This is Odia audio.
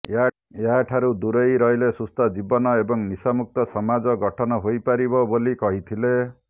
ଏହା ଠାରୁ ଦୂରେଇ ରହିଲେ ସୁସ୍ଥ ଜୀବନ ଏବଂ ନିଶାମୁକ୍ତ ସମାଜ ଗଠନ ହୋଇପାରିବ ବୋଲି କହିଥିଲେ